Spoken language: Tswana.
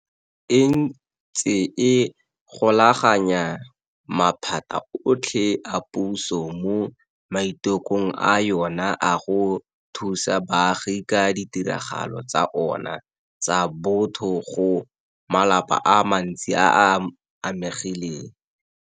E ntse e golaganya maphata otlhe a puso mo maitekong a yona a go thusa baagi ka ditirelo tsa ona tsa botho go malapa a mantsi a a amegileng.